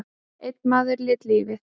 Einn maður lét lífið.